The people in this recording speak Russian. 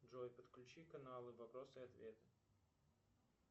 джой подключи канал вопросы и ответы